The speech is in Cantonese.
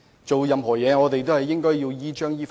做任何事情，我們都應依章依法。